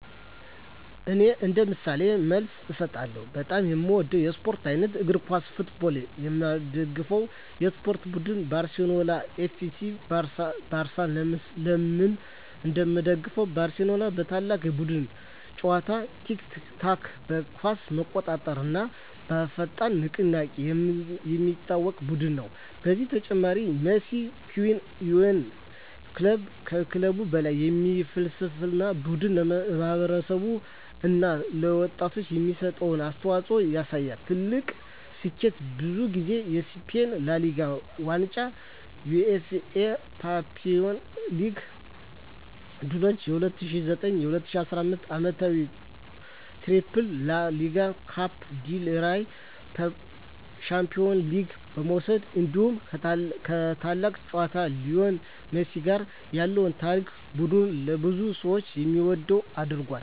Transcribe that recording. እኔ እንደ ምሳሌ መልስ እሰጣለሁ፦ በጣም የምወደው የስፖርት አይነት: እግር ኳስ (Football) የምደግፈው የስፖርት ቡድን: ባርሴሎና (FC Barcelona) ለምን እንደምደግፈው: ባርሴሎና በታላቅ የቡድን ጨዋታ (tiki-taka)፣ በኳስ መቆጣጠር እና በፈጣን ንቅናቄ የሚታወቅ ቡድን ነው። ከዚህ በተጨማሪ “Mes que un club” (ከክለብ በላይ) የሚል ፍልስፍናው ቡድኑ ለማህበረሰብ እና ለወጣቶች የሚሰጠውን አስተዋፅኦ ያሳያል። ትልቁ ስኬቱ: ብዙ ጊዜ የስፔን ላ ሊጋ ዋንጫ የUEFA ቻምፒዮንስ ሊግ ድሎች በ2009 እና 2015 ዓመታት “ትሪፕል” (ላ ሊጋ፣ ኮፓ ዴል ሬይ፣ ቻምፒዮንስ ሊግ) መውሰድ እንዲሁ ከታላቁ ተጫዋች ሊዮኔል ሜሲ ጋር ያለው ታሪክ ቡድኑን ለብዙ ሰዎች የሚወደድ አድርጎታል።